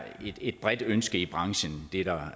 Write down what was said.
et bredt ønske i branchen jeg